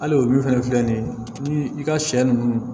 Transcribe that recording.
Hali o min fana filɛ nin ye ni i ka sɛ ninnu